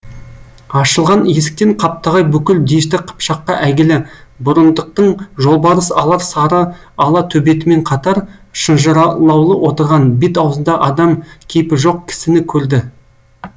ашылған есіктен қаптағай бүкіл дешті қыпшаққа әйгілі бұрындықтың жолбарыс алар сары ала төбетімен қатар шынжырлаулы отырған бет аузында адам кейпі жоқ кісіні көрді